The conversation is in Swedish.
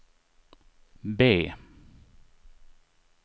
B